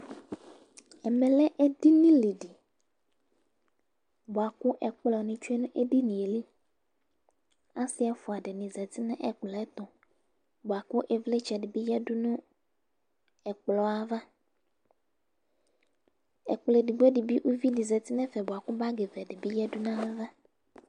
ɛmɛ lɛ edini di boa kò ɛkplɔ ni tsue no edinie li ɔse ɛfua dini zati n'ɛkplɔɛto boa kò ivlitsɛ di bi yadu n'ɛkplɔɛ ava ɛkplɔ edigbo di bi uvi di zati n'ɛfɛ boa kò bag vɛ di bi yadu n'ava